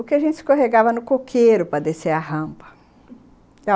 O que a gente escorregava no coqueiro para descer a rampa.